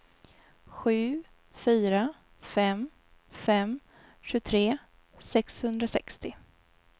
sju fyra fem fem tjugotre sexhundrasextio